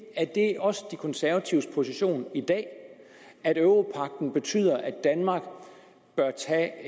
er det også de konservatives position i dag at europagten betyder at danmark bør tage